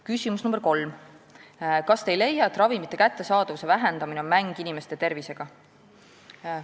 Küsimus nr 3: "Kas te ei leia, et ravimite kättesaadavuse vähendamine on mäng inimeste tervisega?